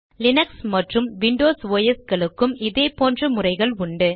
Linux மற்றும் Windows OS களுக்கும் இதே போன்ற முறைகள் உண்டு